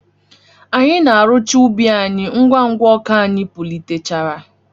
Anyị na arụcha ubi any ngwa ngwa ọka anyị pulitechara.